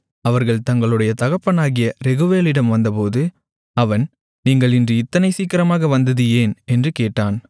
அவர்கள் தங்களுடைய தகப்பனாகிய ரெகுவேலிடம் வந்தபோது அவன் நீங்கள் இன்று இத்தனை சீக்கிரமாக வந்தது ஏன் என்று கேட்டான்